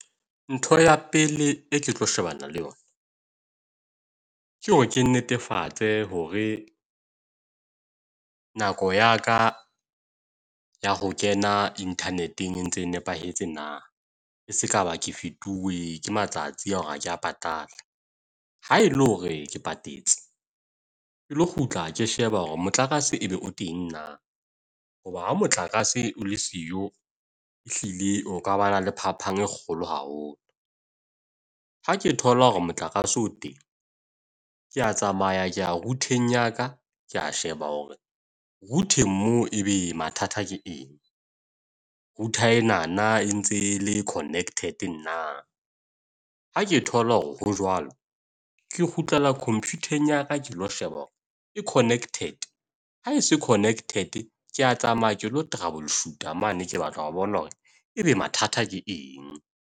Ntho ya pele e ke tlo shebana le yona ke hore ke netefatse hore nako ya ka ya ho kena internet-eng e ntse e nepahetse na. E sekaba ke fetuwe ke matsatsi a hore ha ke a patala. Haele hore ke patetse ke lo kgutla ke sheba hore motlakase e be o teng na. Hoba ha motlakase o le siyo ehlile ho ka ba na le phapang e kgolo haholo. Ha ke thola hore motlakase o teng ke a tsamaya ke ya route-ng ya ka. Ke a sheba hore route-ng moo ebe mathata ke eng, router enana e ntse le connected na. Ha ke thola hore ho jwalo ke kgutlela comput-eng ya ka ke lo sheba hore e connected. Ha e se connected, ke a tsamaya ke lo trouble shoot mane. Ke batle ho bona hore ebe mathata ke eng.